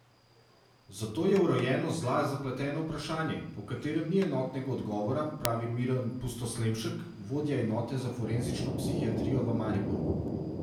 Zato je vrojenost zla zapleteno vprašanje, o katerem ni enotnega odgovora, pravi Miran Pustoslemšek, vodja enote za forenzično psihiatrijo v Mariboru.